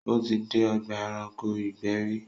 Ó ti dé ọgbà ẹranko ìgbẹ́ rí